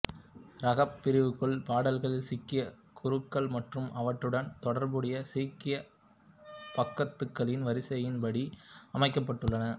ராகப் பிரிவுக்குள் பாடல்கள் சீக்கிய குருக்கள் மற்றும் அவற்றுடன் தொடர்புடைய சீக்கிய பகத்துகளின் வரிசையின் படி அமைக்கப்பட்டுள்ளன